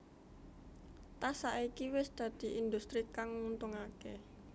Tas saiki wis dadi industri kang nguntungaké